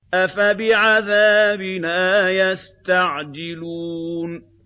أَفَبِعَذَابِنَا يَسْتَعْجِلُونَ